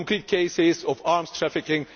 cases of arms trafficking.